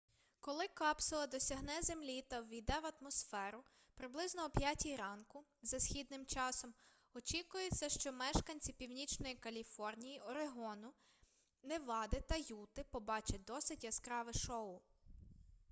коли капсула досягне землі та ввійде в атмосферу приблизно о 5 ранку за східним часом очікується що мешканці північної каліфорнії орегону невади та юти побачать досить яскраве шоу